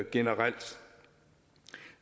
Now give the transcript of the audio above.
generelt